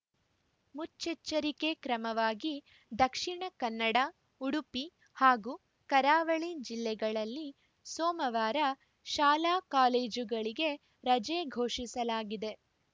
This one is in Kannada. ಮುಚ್ಚೆಚ್ಚರಿಕೆ ಕ್ರಮವಾಗಿ ದಕ್ಷಿಣಕನ್ನಡ ಉಡುಪಿ ಹಾಗೂ ಕರಾವಳಿ ಜಿಲ್ಲೆಗಳಲ್ಲಿ ಸೋಮವಾರ ಶಾಲಾಕಾಲೇಜುಗಳಿಗೆ ರಜೆ ಘೋಷಿಸಲಾಗಿದೆ